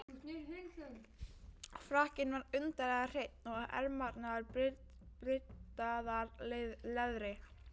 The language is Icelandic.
Frakkinn var undarlega hreinn, og ermarnar bryddaðar leðri.